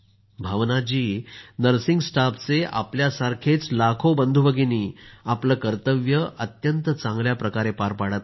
भावना ji nursing स्टाफचे आपल्यासारखेच लाखो बंधुभगिनी आपलं कर्तव्य अत्यंत चांगल्या प्रकारे पार पाडत आहेत